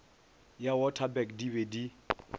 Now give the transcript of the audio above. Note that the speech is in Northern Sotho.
ya waterberg di be di